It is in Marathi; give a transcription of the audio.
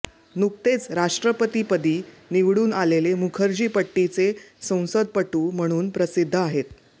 नुकतेच राष्ट्रपतिपदी निवडून आलेले मुखर्जी पट्टीचे संसदपटू म्हणून प्रसिद्ध आहेत